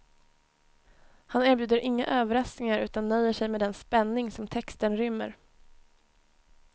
Han erbjuder inga överraskningar, utan nöjer sig med den spänning som texten rymmer.